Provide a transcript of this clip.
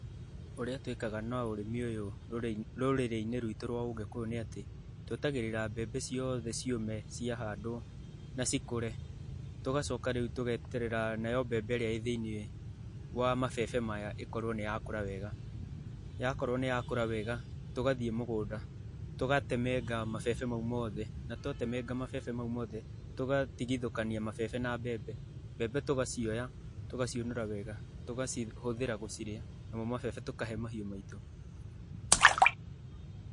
Ũrĩa twĩkaga na ũrĩmi ũyũ rũrĩrĩ-inĩ rwitũ rwa ũgĩkũyũ nĩ atĩ twetagĩrĩra mbembe ciothe ciũme ciahandwo na cikũre. Tũgacoka rĩu tũgeterera nayo mbembe ĩrĩa ĩĩ thĩinĩ wa mabebe maya ĩkorwo nĩ yakũra wega. Yakorwo nĩ yakũra wega, tũgathii mũgũnda tũgatemenga mabebe mau mothe, na twatemenga mabebe mau mothe, tũgatigithũkania mabebe na mbembe. Mbembe tũgacioya, tũgaciũnũra wega, tũgacihũthĩra gũcirĩa, namo mabebe tũkahe mahiũ maitũ.